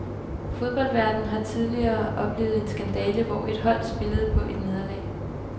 Fodboldverden har tidligere oplevet en skandale, hvor et hold spillede på et nederlag.